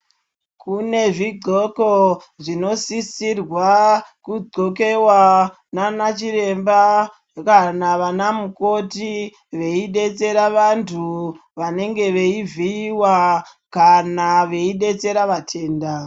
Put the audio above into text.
Kune zvidxoko zvinosisirwa kudxokewa naana chiremba kana vanamukoti veidetsera vantu vanenge veivhiyiwa kana veidetsera vatenda.